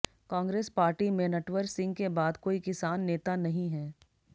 Congress party में नटवर सिंह के बाद कोई किसान नेता नहीं है